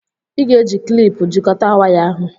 Ị ga-eji kịlịpù jikọta waya ahụ